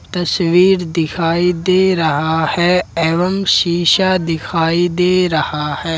तस्वीर दिखाई दे रहा है एवं शिशा दिखाई दे रहा है।